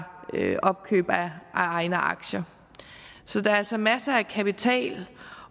opkøb af egne aktier så der er altså masser af kapital